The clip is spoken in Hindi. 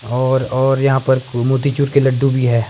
और और यहां पर खूब मोटीचूर के लड्डू भी हैं।